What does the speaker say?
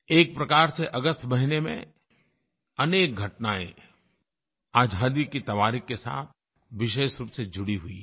एक प्रकार से अगस्त महीने में अनेक घटनायें आज़ादी की तवारीख़ के साथ विशेष रूप से जुड़ी हुई हैं